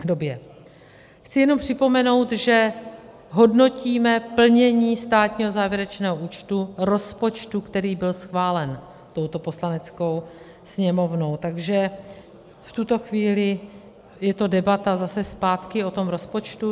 Chci jenom připomenout, že hodnotíme plnění státního závěrečného účtu rozpočtu, který byl schválen touto Poslaneckou sněmovnou, takže v tuto chvíli je to debata zase zpátky o tom rozpočtu.